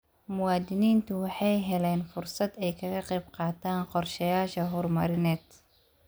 Muwaadiniintu waxay helaan fursad ay kaga qayb qaataan qorshayaasha horumarineed.